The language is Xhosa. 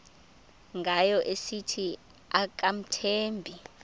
ngayo esithi akamthembi